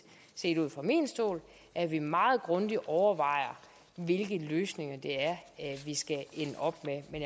set fra min stol at vi meget grundigt overvejer hvilke løsninger det er vi skal ende op